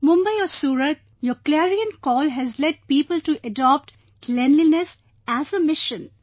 Mumbai or Surat, your clarion call has led people to adopt cleanliness as a mission